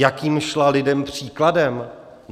Jakým šla lidem příkladem?